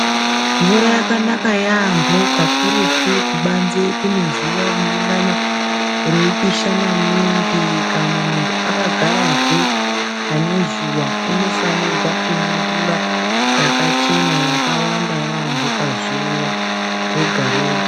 Mvura yakanaka yaampho kakurutu kubanze kune zuwa rinengana reipisha maningi kana munhu akagarazve pane zuwa, unofanirwa kumwa mvura yakachena, yakawanda yaampho, pazuwa rega-rega.